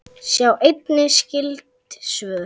Sjá einnig skyld svör